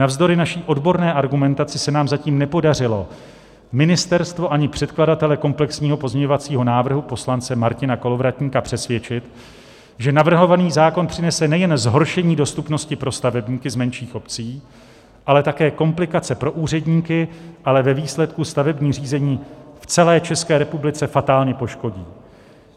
Navzdory naší odborné argumentaci se nám zatím nepodařilo ministerstvo ani předkladatele komplexního pozměňovacího návrhu poslance Martina Kolovratníka přesvědčit, že navrhovaný zákon přinese nejen zhoršení dostupnosti pro stavebníky z menších obcí, ale také komplikace pro úředníky a ve výsledku stavební řízení v celé České republice fatálně poškodí.